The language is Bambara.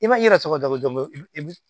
I ma i yɛrɛ tɔgɔ dabɔ dɔn